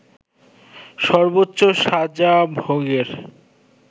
সর্বোচ্চ সাজা ভোগের